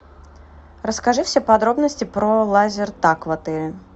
расскажи все подробности про лазертаг в отеле